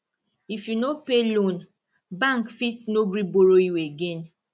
if you no pay loan bank fit no gree borrow you again